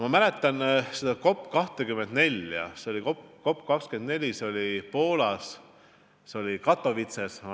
Ma mäletan COP24 konverentsi Poolas Katowices.